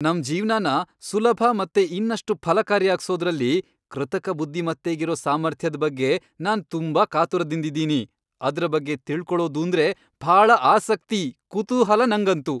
ನಮ್ ಜೀವ್ನನ ಸುಲಭ ಮತ್ತೆ ಇನ್ನಷ್ಟು ಫಲಕಾರಿಯಾಗ್ಸೋದ್ರಲ್ಲಿ ಕೃತಕ ಬುದ್ಧಿಮತ್ತೆಗಿರೋ ಸಾಮರ್ಥ್ಯದ್ ಬಗ್ಗೆ ನಾನ್ ತುಂಬಾ ಕಾತುರದಿಂದಿದೀನಿ. ಅದ್ರ ಬಗ್ಗೆ ತಿಳ್ಕೊಳೊದೂಂದ್ರೆ ಭಾಳ ಆಸಕ್ತಿ, ಕುತೂಹಲ ನಂಗಂತೂ!